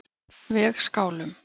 Vegskálum